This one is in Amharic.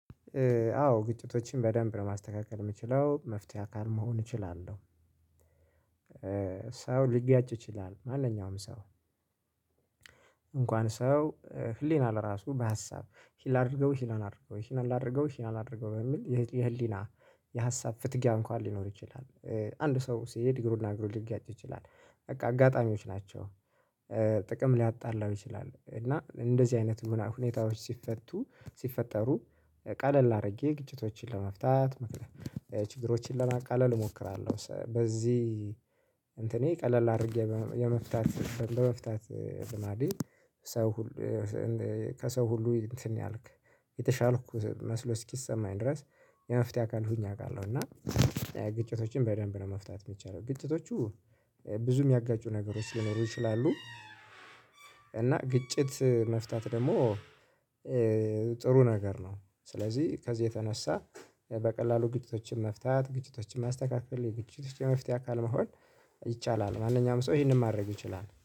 አዎ ግጭቶችን በደንብ ለማስተካከል የምችለው የመፍትሄ አካል መሆን እችላለሁ። ሰው ሊጋጭ ይችላል ማንኛውም ሰው እንኳን ሰው ህሊና ለራሱ በሀሳብ ይህን ላአድርገው ይህን ላአድርገው ይህን ላድርገው ይህን አድርገው በሚል የህሊና የሀሳብ ፍትጊያ እንኳን ሊኖር ይችላል። አንድ ሰው ሲሄድ እግሩና እግሩ ሊጋጭ ይችላል በቃ አጋጣሚዎች ናቸው። ጥቅም ሊያጣላው ይችላል እና እንደዚህ አይነት ሁኔታዎች ሲፈቱ ሲፈጠሩ ቃለል አድርጌ ግጭቶችን ለመፍታት ችግሮችን ለማቃለል እሞክራለሁ። በዚህ እንትኔ ቀለል አድርጌ የመፍታት ለመፍታት ልማዴ። ሰው ከሰው ሁሉ እንትን ያልክ የተሻልኩ መስሎ እስኪሰማኝ ድረስ የመፍትሄ አካል ሁኚ አውቃለሁ። እና ግጭቶችን በደንብ ነው መፍታት እምችለው ግጭቶቹ ብዙ የሚያጋጩ ነገሮች ሊኖሩ ይችላሉ። እና ግጭት መፍታት ደግሞ ጥሩ ነገር ነው። ስለዚህ ከዚህ የተነሳ በቀላሉ ግጭቶችን መፍታት ግጭቶችን ማስተካከል የግጭቶች የመፍትሄ አካል መሆን። ይቻላል ማንኛውም ሰው ይሄንን ማድረግ ይችላል